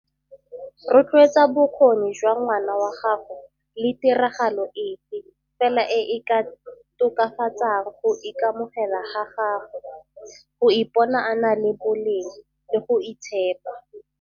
Rotloetsa bokgoni jwa ngwana wa gago le tiragalo efe fela e e ka tokafatsang go ikamogela ga gagwe, go ipona a na le boleng le go itshepa.